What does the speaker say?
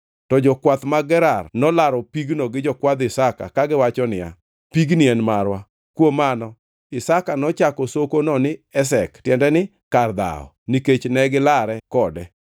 To jokwath mag Gerar nolaro pig-no gi jokwadh Isaka kagiwacho niya, “Pigni en marwa.” Kuom mano Isaka nochako sokono ni Esek (tiende ni kar dhawo) nikech ne gilare kode